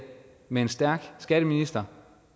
med en stærk skatteminister